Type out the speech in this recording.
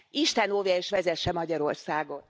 Isten óvja és vezesse Magyarországot!